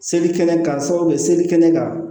Selikɛnɛ kasa bɛ selikɛnɛ kan